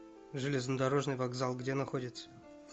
железнодорожный вокзал где находится